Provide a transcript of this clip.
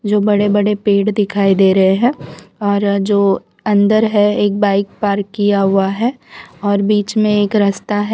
जो बड़े-बड़े पेड़ दिखाई दे रहे हैं और जो अंदर है एक बाइक पार्क किया हुआ है और बीच में एक रास्ता है।